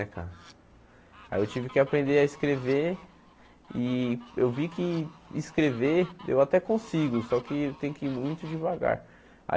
É cara aí eu tive que aprender a escrever e eu vi que escrever eu até consigo, só que tem que ir muito devagar.